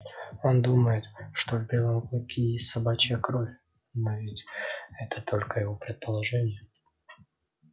он думает что в белом клыке есть собачья кровь но ведь это только его предположение